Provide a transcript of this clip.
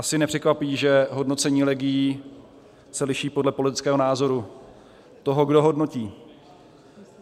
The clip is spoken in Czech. Asi nepřekvapí, že hodnocení legií se liší podle politického názoru toho, kdo hodnotí.